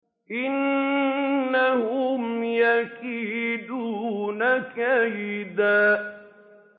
إِنَّهُمْ يَكِيدُونَ كَيْدًا